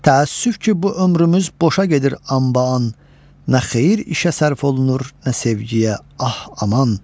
Təəssüf ki, bu ömrümüz boşal gedir anbaan, nə xeyir işə sərf olunur, nə sevgiyə, ah, aman!